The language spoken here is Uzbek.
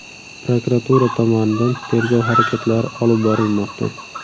Prokuratura tomonidan tergov harakatlari olib borilmoqda.